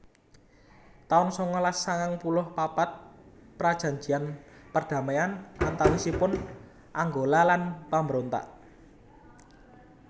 taun sangalas sangang puluh papat Prajanjian perdamaian antawisipun Angola lan pambrontak